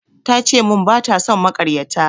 Ta ce mun bata son makaryata